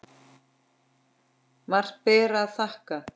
Margt ber að þakka.